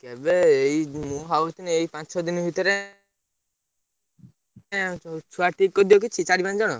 କେବେ ଏଇ ମୁଁ ଭାବୁଥିନି ଏଇ ପାଞ୍ଚ, ଛ, ଦିନ ଭିତରେ ଛୁଆ ଠିକ କରିଦିଅ କିଛି ଚାରି, ପାଞ୍ଚ ଜଣ।